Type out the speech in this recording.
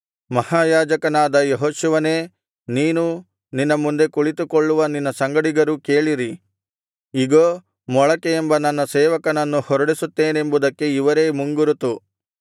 ಮಹಾಯಾಜಕನಾದ ಯೆಹೋಶುವನೇ ನೀನೂ ನಿನ್ನ ಮುಂದೆ ಕುಳಿತುಕೊಳ್ಳುವ ನಿನ್ನ ಸಂಗಡಿಗರೂ ಕೇಳಿರಿ ಇಗೋ ಮೊಳಕೆ ಎಂಬ ನನ್ನ ಸೇವಕನನ್ನು ಹೊರಡಿಸುತ್ತೆನೆಂಬುದಕ್ಕೆ ಇವರೇ ಮುಂಗುರುತು